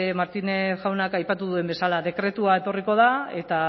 martínez jaunak aipatu duen bezala dekretua etorriko da eta